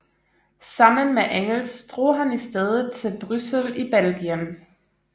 Sammen med Engels drog han i stedet til Bryssel i Belgien